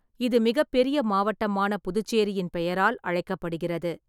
இது மிகப்பெரிய மாவட்டமான புதுச்சேரியின் பெயரால் அழைக்கப்படுகிறது.